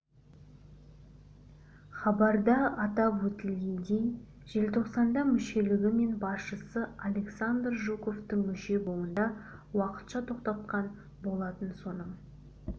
хабарда атап өтілгендей желтоқсанда мүшелігі мен басшысы александр жуковтың мүше болуын да уақытша тоқтатқан болатын соның